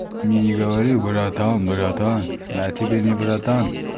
мне не говори братан братан я тебе не братан